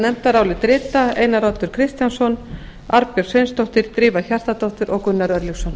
nefndarálitið rita einar oddur kristjánsson arnbjörg sveinsdóttir drífa hjartardóttir og gunnar örlygsson